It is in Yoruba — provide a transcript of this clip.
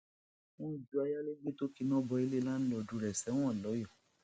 wọn ju ayálégbé tó kíná bo ilé láńlọọdù rẹ sẹwọn lọyọọ